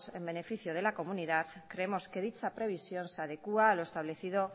en beneficio de la comunidad creemos que dicha previsión se adecua a lo establecido